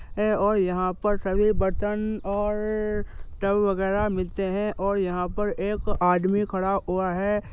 ऐ और यहां पर सभी बर्तन और टब वगैरा मिलते हैं और यहां पर एक आदमी खड़ा ऊआ है।